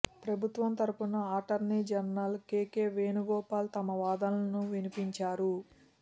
ప్రభుత్వం తరపున attorney general K K Venugopal తమ వాదనలను వినిపించారు